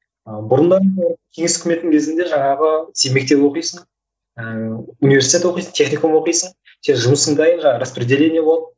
ы бұрындары енді кеңес үкіметінің кезінде жаңағы сен мектеп оқисың ыыы университет оқисың техникум оқисың сен жұмысың дайын жаңағы распределение болады